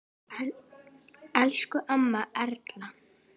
Elsku amma Erla.